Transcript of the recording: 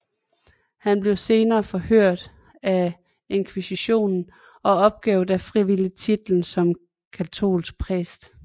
Han blev senere forhørt af inkvisisjonen og opgav da frivilligt titlen som katolsk prest